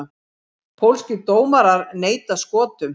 Pólskir dómarar neita Skotum